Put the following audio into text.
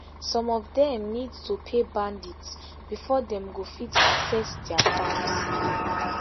some of dem need to pay bandits bifor dem go fit access dia farms